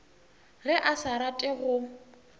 ge a sa rate go